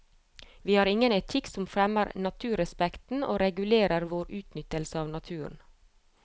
Vi har ingen etikk som fremmer naturrespekten og regulerer vår utnyttelse av naturen.